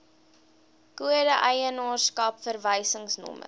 kode eienaarskap verwysingsnommer